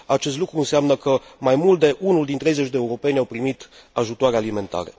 Acest lucru înseamnă că mai mult de unul din treizeci de europeni au primit ajutoare alimentare.